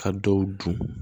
Ka dɔw dun